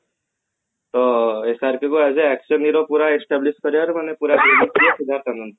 ତ SRK ବି as a action hero ପୁରା establish କରିବାରୁ ନହେଲେ ପୁରା